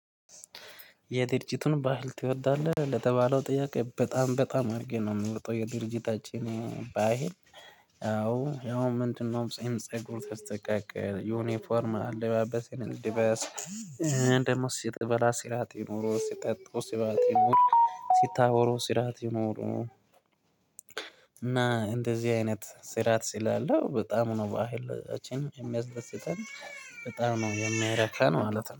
የድርጅቱን ባህል ትወዳለህ ለተባለው ጥያቄ በጣም በጣም አድርጌ ነው የምወጣው የድርጅታችን ባሂል ያው ምንድነው ጺም ፀጉር ተስተካክል ዩኒፎርም አለባበስ ደሞ ሲጥበላ ሲራጥ ይኖሩ ሲጠጡ ሲባት ይኖሩ ሲታወሩ ስራት ይኖሩ እና እንደዚህ አይነት ስራት ስላለው በጣም ነው በህለችን የሚያስደስተን በጣም ነው የሚያረካን ማለት ነው።